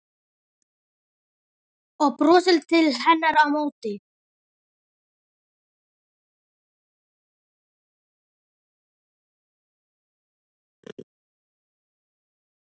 Og brosir til hennar á móti.